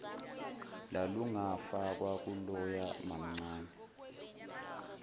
lalungafakwa kuloya mamncane